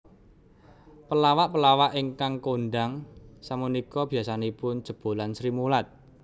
Pelawak pelawak ingkang kondhang sapunika biasanipun jebolan Srimulat